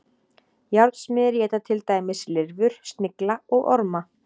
Járnsmiðir éta til dæmis lirfur, snigla og orma.